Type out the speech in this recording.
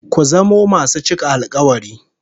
Ku zamo masu cika alkawari